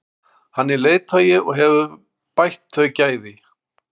Hann er leiðtogi og hefur bætt þau gæði.